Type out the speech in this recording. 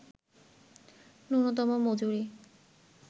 ন্যূনতম মজুরি